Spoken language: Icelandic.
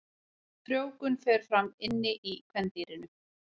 Frjóvgun fer fram inni í kvendýrinu.